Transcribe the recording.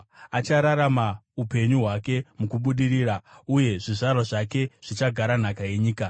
Achararama upenyu hwake mukubudirira, uye zvizvarwa zvake zvichagara nhaka yenyika.